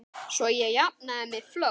Svo ég jafni mig fljótt.